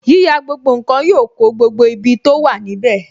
Yíyà gbogbo nkan yọ kó gbogbo ibi tó wà níbè